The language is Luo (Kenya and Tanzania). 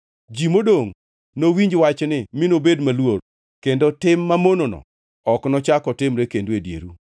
Ji modongʼ nowinj wachni mi nobed maluor kendo tim mamonono ok nochak otimre kendo e dieru.